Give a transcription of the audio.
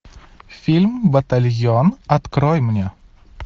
фильм батальон открой мне